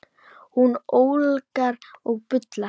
Hún ólgar og bullar.